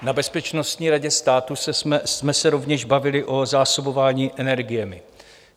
Na Bezpečnostní radě státu jsme se rovněž bavili o zásobování energiemi.